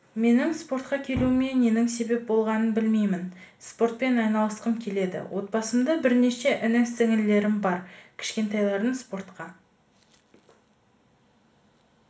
менің спортқа келуіме ненің себеп болғанын білмеймін спортпен айналысқым келді отбасымда бірнеше іні-сіңілілерім бар кішкентайларын спортқа